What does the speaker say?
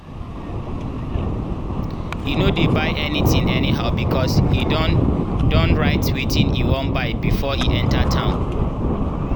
e no dey buy anything anyhow because e don don write wetin e wan buy before e enter town.